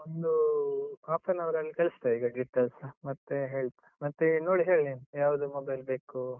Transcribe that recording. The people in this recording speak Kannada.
ಒಂದು half an hour ಲ್ಲಿ ಕಳಿಸ್ತೇ, ಈಗ details, ಮತ್ತೆ ಹೇಳ್ತ್ ಮತ್ತೆ ನೋಡಿ ಹೇಳು, ನೀನು ಯಾವ್ದು mobile ಬೇಕು.